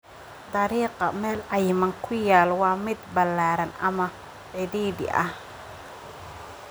dariiqa meel cayiman ku yaal waa mid ballaaran ama cidhiidhi ah